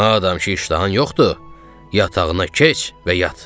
Madam ki iştahan yoxdur, yatağına keç və yat!